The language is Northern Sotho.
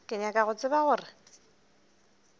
ke nyaka go tseba gore